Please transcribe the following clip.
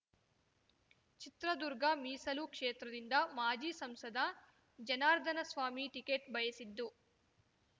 ಚಿತ್ರದುರ್ಗ ಮೀಸಲು ಕ್ಷೇತ್ರದಿಂದ ಮಾಜಿ ಸಂಸದ ಜನಾರ್ಧನಸ್ವಾಮಿ ಟಿಕೆಟ್ ಬಯಸಿದ್ದು